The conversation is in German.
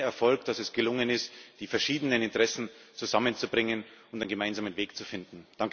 Es ist sein Erfolg, dass es gelungen ist, die verschiedenen Interessen zusammenzubringen und einen gemeinsamen Weg zu finden.